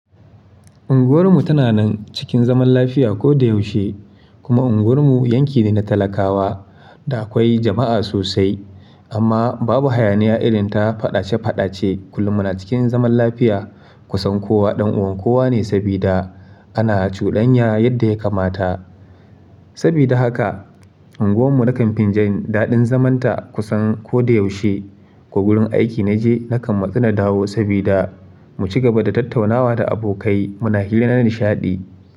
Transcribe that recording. Unguwar mu tana nan cikin zaman lafiya ko da yaushe, kuma unguwar mu yanki ne na talakawa da akwai jama'a sosai. Amma babu hayaniya irin ta faɗace-faɗace kullum muna cikin zaman lafiya. Kusan kowa ɗan uwan kowa ne sabida ana cudanya yadda ya kamata. Sabida haka, unguwar mu na kan fin jan daɗin zamanta kusan ko da yaushe. Ko gurin aiki na je na kan matsu na dawo sabida mu ci gaba da tattaunawa da abokai muna hirar nishaɗi.